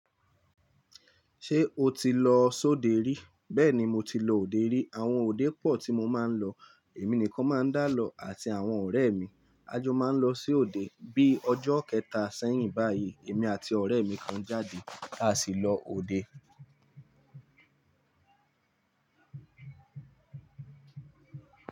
Ṣé o ti lọ sóde rí? Bẹ́ẹ̀ni mo ti lọ òde rí. Àwọn òde pọ̀ tí mo máa ń lọ. Èmi nìkan máa ń dálọ́ àti àwọn ọ̀rẹ́ mi. A jọ máa ń lọ sí òde. Bí ọjọ́ kẹta sẹ́yìn báyìí, èmi àti ọ̀rẹ́ mi kan jáde, a sì lọ òde.